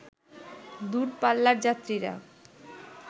দূর পাল্লার যাত্রীরা